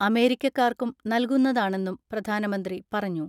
അമേരിക്കക്കാർക്കും നൽകുന്നതാണെന്നും പ്രധാനമന്ത്രി പറഞ്ഞു.